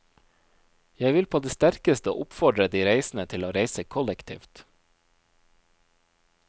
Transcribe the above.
Jeg vil på det sterkeste oppfordre de reisende til å reise kollektivt.